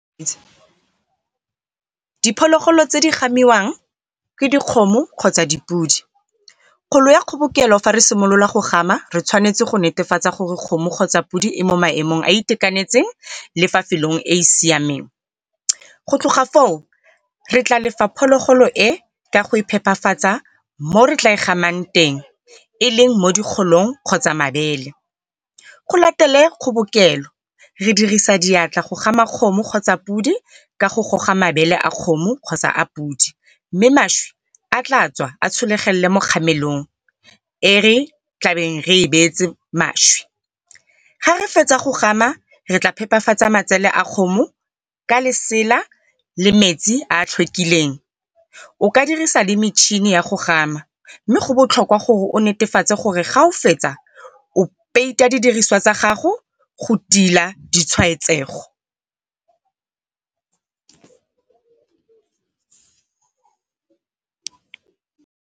Diphologolo tse di gamiwang ke dikgomo kgotsa dipodi. ya kgobokelo fa re simolola go gama re tshwanetse go netefatsa gore kgomo kgotsa podi e mo maemong a a itekanetseng le fa e e siameng. Go tloga foo, re tla phologolo e ka go e phepafatsa mo re tla e gamang teng e leng mo di kgotsa mabele. Go latele kgobokelo, re dirisa diatla go gama kgomo kgotsa podi ka go goga mabele a kgomo kgotsa a podi. Mme mašwi a tla tswa a tshologelele mo kgamelong e re tlabeng re e beetse mašwi. Ha re fetsa go gama re tla phepafatsa matsele a kgomo ka lesela le metsi a a . O ka dirisa le metšhini ya go gama, mme go botlhokwa gore o netefatse gore fa o fetsa o peita didiriswa tsa gago go tila di tshwaetsego.